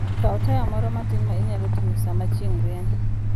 Kaw taya moro matin ma inyalo ting'o sama chieng' rieny.